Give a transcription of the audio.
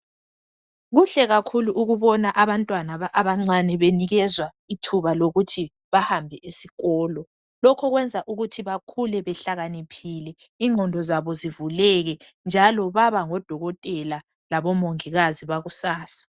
Kuhle kakhulu ukubona abantwana abancane benikezwa ithuba lokuthi bahambe esikolo. Lokhu kwenza ukuthi bakhule behlakaniphile ingqondo zabo zivuleke njalo baba ngo dokotela labo mongikazi bakusasa